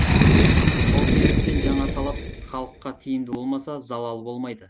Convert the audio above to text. сол себептен жаңа талап халыққа тиімді болмаса залалы болмайды